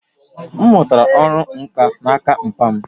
M mụtara ọrụ nkà n'aka papa m